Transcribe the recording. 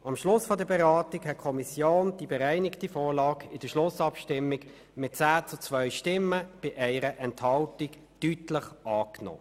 In der Schlussabstimmung hat die Kommission die bereinigte Vorlage mit 10 zu 2 Stimmen bei 1 Enthaltung deutlich angenommen.